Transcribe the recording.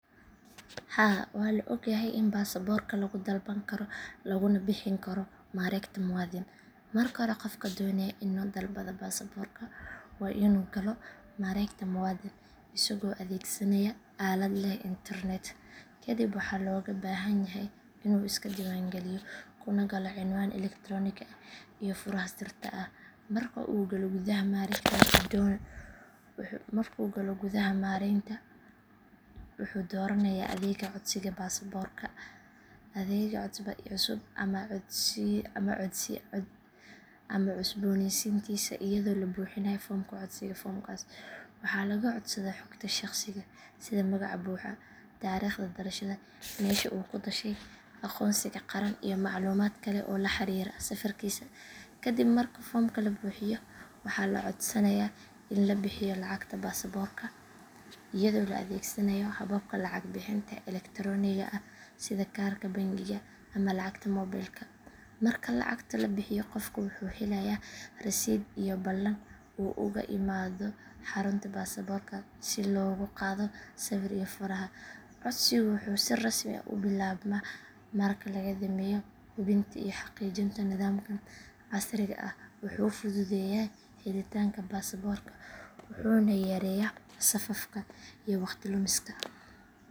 Haa waa la ogyahay in baasaaborka lagu dalban karo laguna bixin karo mareegta muwaadin. Marka hore qofka doonaya inuu dalbado baasaaborka waa inuu galo mareegta muwaadin isagoo adeegsanaya aalad leh internet. Kadib waxaa looga baahan yahay inuu iska diiwaangeliyo kuna galo cinwaan elektaroonik ah iyo furaha sirta ah. Marka uu galo gudaha mareegta wuxuu dooranayaa adeegga codsiga baasaaborka cusub ama cusboonaysiintiisa iyadoo la buuxinayo foomka codsiga. Foomkaas waxaa laga codsadaa xogta shakhsiga sida magaca buuxa, taariikhda dhalashada, meesha uu ku dhashay, aqoonsiga qaran iyo macluumaad kale oo la xiriira safarkiisa. Kadib marka foomka la buuxiyo waxaa la codsanayaa in la bixiyo lacagta baasaaborka iyadoo la adeegsanayo hababka lacag bixinta elektarooniga ah sida kaarka bangiga ama lacagta mobilka. Marka lacagta la bixiyo qofka wuxuu helayaa rasiidh iyo ballan uu uga imaado xarunta baasaaborka si loogu qaado sawir iyo faraha. Codsigu wuxuu si rasmi ah u bilaabmaa marka laga dhameeyo hubinta iyo xaqiijinta. Nidaamkan casriga ah wuxuu fududeeyay helitaanka baasaaborka wuxuuna yareeyay safafka iyo waqti lumiska.